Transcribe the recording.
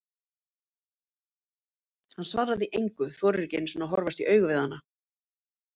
Hann svarar því engu, þorir ekki einu sinni að horfast í augu við hana.